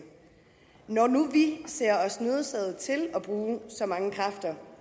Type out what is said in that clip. når nu vi ser os nødsaget til at bruge så mange kræfter